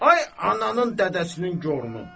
Ay ananın dədəsinin gorunu.